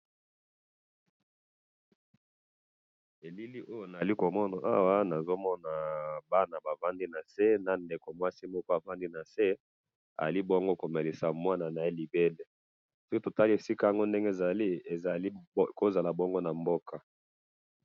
na elili oyo tozali komona awa nazali komona bana bavandi nase pe na ndeko ya mwasi avandi nase azali komelisa mwana libele soki totali esika yango ndenge ezali ekoki kozala esika nango na mboka